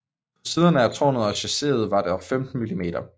På siderne af tårnet og chassiset var der 15 mm